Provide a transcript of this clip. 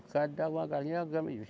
O cara dava uma galinha, era uma grama de